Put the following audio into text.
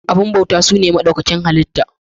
Abubuwan bautawa su ne maɗaukakin halitta